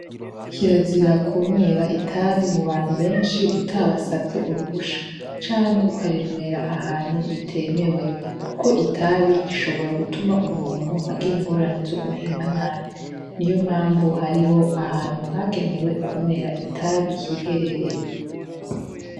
Kirazira ku nwera itabi mu bantu benshi utabasavye uruhusha canke ukarinwera ahantu bitemewe, kuko itabi rishobora gutuma umuntu agire ingorane zo guhema nabi ni yo mpamvu hariho ahantu hagenewe kunwera itabi yiherereye.